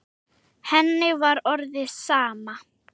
Henni var orðið sama.